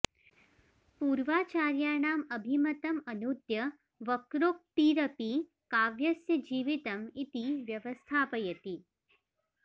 पूर्वाचार्याणाम् अभिमतं अनूद्य वक्रोक्तिरपि काव्यस्य जीवितम् इति व्यवस्थापयति